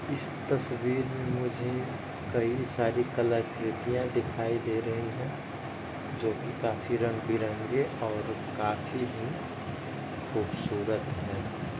इस तस्वीर में मुझे कई सारी कला कृतियां दिखाई दे रही है जो कि काफी रंग-बिरंगे और काफी भी खूबसूरत है।